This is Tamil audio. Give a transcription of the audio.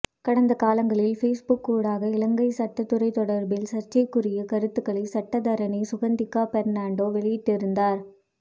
கடந்த காலங்களில் பேஸ்புக் ஊடாக இலங்கை சட்டத்துறை தொடர்பில் சர்ச்சைக்குரிய கருத்துக்களை சட்டத்தரணி சுகந்திகா பெர்ணான்டோ வெளியிட்டிருந்தார்